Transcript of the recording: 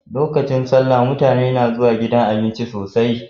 Lokacin salla mutane na zuwa gidan abinci sosai